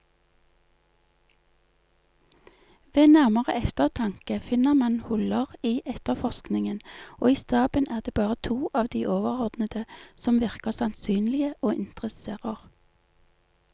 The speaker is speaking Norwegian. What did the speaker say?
Ved nærmere eftertanke finner man huller i efterforskningen, og i staben er det bare to av de overordnede som virker sannsynlige og interesserer.